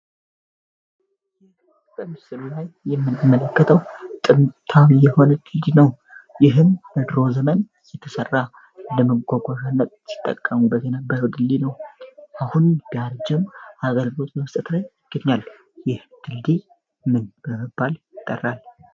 ይህ በምስሉ ላይ የምንመለከተው ጥንታንዊ የሆነ ድልድይ ነው ይህን ለድሮ ዘመን የተሠራ ለመጓጓዝዣነት ሲጠቀሙ በነበረው ድልድይ ነው አሁን ጋር ጅም አገልበት በመስተትራይ ይገኛል ይህ ድልድይ ምን በለመባል ይጠራል?